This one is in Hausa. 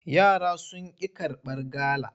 Yara sun ƙi karbar gala.